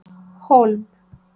Hólm